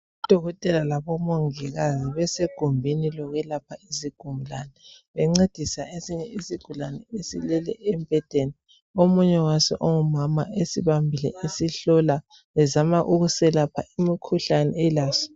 Odokotela labomongikazi besegumbini lokwelapha izigulani bencedisa esinye isigulani esilele embhedeni omunye waso ongumama esibambile esihlola ezama ukuselapha umkhuhlane elaso.